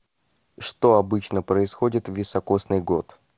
что обычно происходит в високосный год